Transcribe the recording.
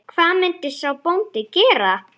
Hvað myndi sá bóndi gera?